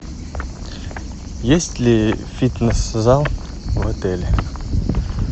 есть ли фитнес зал в отеле